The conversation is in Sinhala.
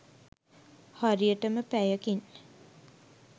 හරියටම පැයකින්